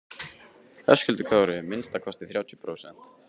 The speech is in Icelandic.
Höskuldur Kári: Minnsta kosti þrjátíu prósent?